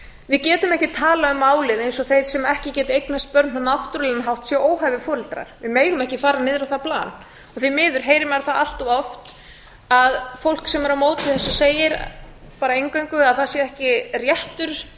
við getum ekki talað um málið eins og þeir sem ekki geta eignast börn á náttúrulegan hátt séu óhæfir foreldrar við megum ekki fara niður á það plan því miður heyrum við það allt of oft að fólk sem er á móti þessu segir bara eingöngu að það sé ekki réttur neins